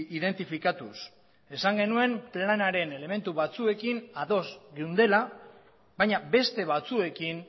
identifikatuz esan genuen planaren elementu batzuekin ados geundela baina beste batzuekin